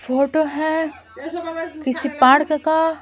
photo है किसी park का--